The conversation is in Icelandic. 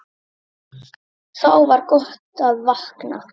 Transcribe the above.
Þá var gott að vakna.